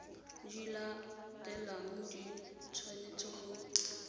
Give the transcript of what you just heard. di latelang di tshwanetse go